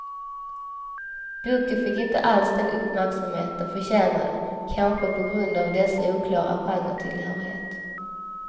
Boken fick inte alls den uppmärksamhet den förtjänade, kanske på grund av dess oklara genretillhörighet.